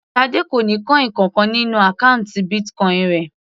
Tade kò ní coin kankan nínú àkọ́ùntì Bitcoin rẹ̀.